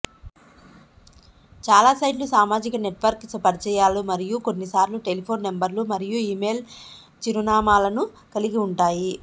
చాలా సైట్లు సామాజిక నెట్వర్క్ పరిచయాలు మరియు కొన్నిసార్లు టెలిఫోన్ నంబర్లు మరియు ఇమెయిల్ చిరునామాలను కలిగి ఉంటాయి